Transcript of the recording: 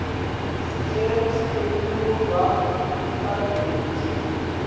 sicelo sekwemukelwa kagrade